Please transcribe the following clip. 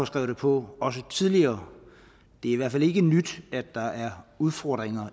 skrevet det på tidligere det er i hvert fald ikke nyt at der er udfordringer